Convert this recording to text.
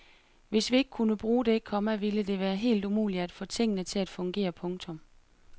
Hvis vi ikke kunne bruge det, komma ville det være helt umuligt at få tingene til at fungere. punktum